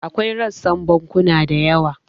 Akwai rassan bankuna da yawa.